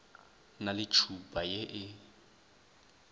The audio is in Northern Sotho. na le tšhupa ye e